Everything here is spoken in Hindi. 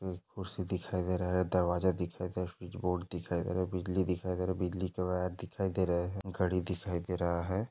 कुर्सी दिखाई दे रहा है दरवाजा दिखाई दे रहा कुछ बोर्ड दिखाई दे रहा बिजली दिखाई दे रहा बिजली का वायर दिखाई दे रहा घडी दिखाई दे रहा है।